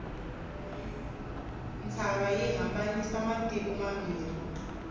ntshava yi hambanyisa matiko mambirhi